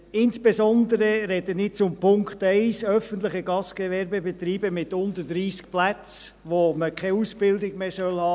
Insbesondere spreche ich zu Punkt 1, öffentliche Gastgewerbebetriebe mit unter 30 Plätzen, wo man keine Ausbildung mehr haben soll.